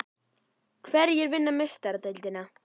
Hverjir vinna Meistaradeildina?